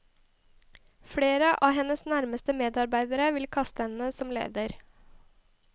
Flere av hennes nærmeste medarbeidere vil kaste henne som leder.